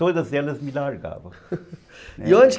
Todas elas me largavam e onde